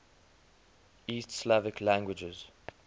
east slavic languages